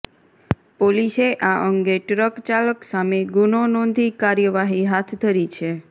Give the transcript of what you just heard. પોસીસે આ અંગે ટ્ર્ક ચાલક સામે ગુનો નોધી કારર્યવાહી હાથ ધરી છે